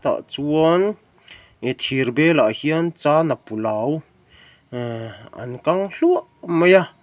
tah chuan thir bel ah hian chana pulau eh an lang hluah mai a.